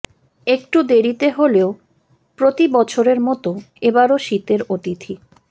একটু দেরিতে হলেও প্রতি বছরের মতো এবারও শীতের অতিথি